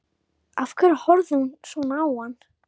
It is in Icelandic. Af hverju horfði hún svona á hann?